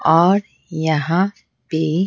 और यहां पे--